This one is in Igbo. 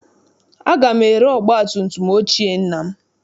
Aga m ere ọgbatumtum ochie nna m.